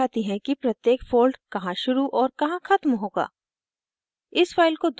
ये guidelines दिखाती हैं कि प्रत्येक fold कहाँ शुरू और कहाँ ख़त्म होगा